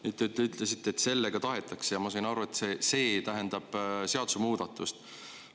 Nüüd, te ütlesite, et "sellega tahetakse", ja ma sain aru, et see "see" tähendab seadusemuudatust.